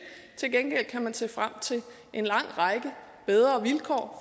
til gengæld kan man se frem til en lang række bedre vilkår